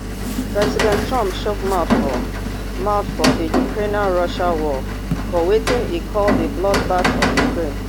president trump chook mouth for mouth for di ukrainerussia war for wetin e call di bloodbath of ukraine